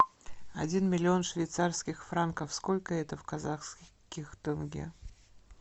один миллион швейцарских франков сколько это в казахских тенге